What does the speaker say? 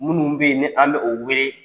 Minnu beyie ni an bɛ o wele